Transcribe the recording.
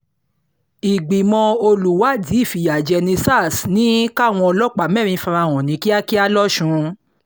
ìgbìmọ̀ olùwádìí ìfìyàjẹni sars ní káwọn ọlọ́pàá mẹ́rin fara hàn kíákíá losùn